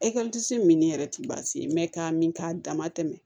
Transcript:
min yɛrɛ ti baasi ye k'a min k'a dama tɛmɛ